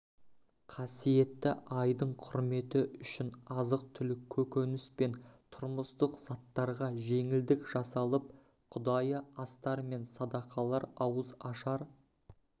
қасиетті айдың құрметі үшін азық-түлік көкөніс пен тұрмыстық заттарға жеңілдік жасалып құдайы астар мен садақалар ауызашар